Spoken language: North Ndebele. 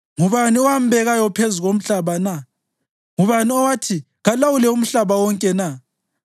Ngubani owambekayo phezu komhlaba na? Ngubani owathi kalawule umhlaba wonke na?